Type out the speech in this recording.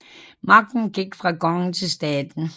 Magten gik fra kongen til staten